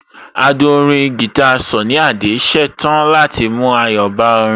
Adùn orin guitar Sunny Adé ṣetán láti mú ayọ̀ bá orin